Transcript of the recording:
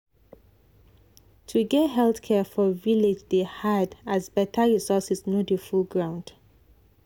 to get health care for village dey hard as better resources no dey full ground.